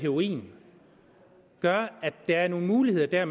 heroin gør at der er nogle muligheder der